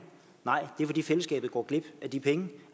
nej det er fordi fællesskabet går glip af de penge